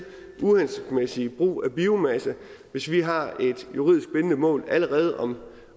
uhensigtsmæssig brug af biomasse hvis vi har et juridisk bindende mål allerede om